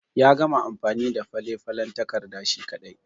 Ya gama amfani da falen falen takarda shi ƙadai.